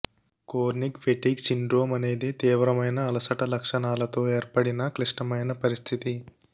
chronic fatigue syndrome అనేది తీవ్రమైన అలసట లక్షణాలతో ఏర్పడిన క్లిష్టమైన పరిస్థితి